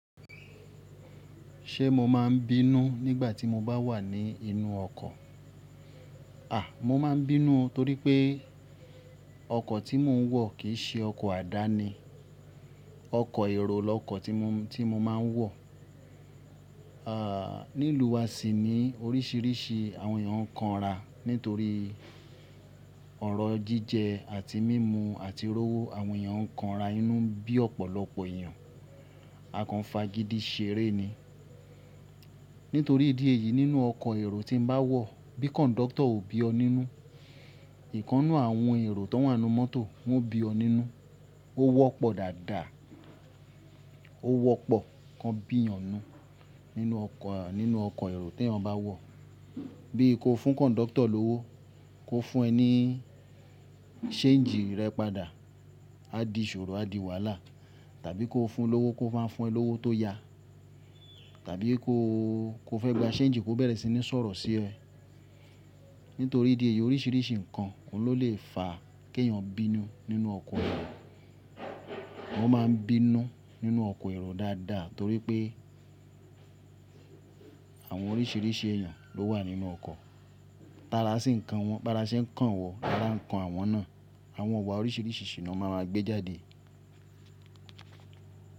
Ṣé mo máa ń bínú nígbà tí mo bá wà ní inú ọkọ̀? À, mo máa ń bínú torí pé ọkọ̀ tí mò ń wọ̀ kì í ṣe ọkọ̀ àdáni. Ọkọ̀ èrò lọkọ̀ tí mo, tí mo máa ń wọ̀. Ní ìlú wa sì ní oríṣiríṣi àwọn èèyàn ń kanra nítorí ọ̀rọ̀ jíjẹ àti mímú àti rówó. Àwọn èèyàn ń kanra inú bí ọ̀pọ̀lọpọ̀ èèyàn. Akànfà gidi ṣeré ni. Nítorí ìdí èyí nínú ọkọ̀ èrò tí ń bá wọ̀, bí kọ̀ńdọ́tọ̀ ò bí ọ nínú, ìkannú àwọn èrò tó wà nínú mọ́tò, wọ́n bí ọ nínú. Ó wọ́pọ̀ dáadáa. Ó wọ́pọ̀ kan bí èèyàn nínú ọkọ̀, nínú ọkọ̀ èrò tí ẹ̀yàn bá wọ̀. Bí i kó fún kọ̀ńdọ́tọ̀ lówó, kó fún ẹ ní séǹjì rẹ padà, á di ìṣòro, á di wàlá. Tàbí kó fún un lówó kó máa fún ẹ lówó tó ya. Tàbí kó, kó fẹ́ gba séǹjì kó bẹ̀rẹ̀ sí ní sọ̀rọ̀ sí ẹ. Nítorí ìdí èyí oríṣiríṣi ǹkan oun ló lè fa kí èèyàn bínú nínú ọkọ̀ èrò. Wọ́n máa ń bínú nínú ọkọ̀ èrò dáadáa torí pé àwọn oríṣiríṣi èèyàn ló wà nínú ọkọ̀. Tára sí ǹkan wọn, bárá ṣe ǹkan wọ̀, lárà ǹkan àwọn náà. Àwọn iwa oríṣiríṣi sì ni wọ́n má maa gbé jáde.